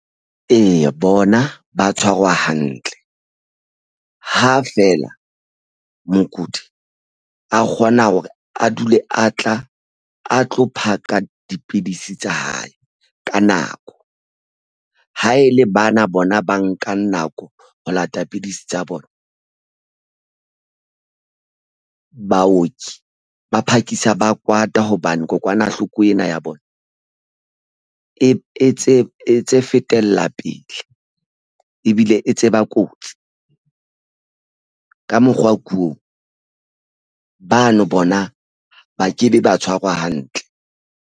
Eya, bona ba tshwarwa hantle ha feela mokudi a kgona hore a dule a tla a tlo phaka dipidisi tsa hae ka nako. Ha e le bana bona ba nkang nako ho lata pidisi tsa bona baoki ba phakisa ba kwata hobane kokwanahloko ena ya bona e tse fetela pele ebile e tseba kotsi ka mokgwa ko bano bona ba kebe ba tshwarwa hantle.